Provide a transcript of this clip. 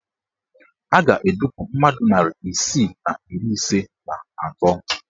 A ga-edupu mmadụ narị isii na iri ise na atọ